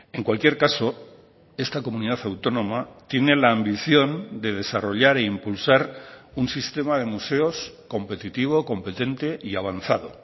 en cualquier caso esta comunidad autónoma tiene la ambición de desarrollar e impulsar un sistema de museos competitivo competente y avanzado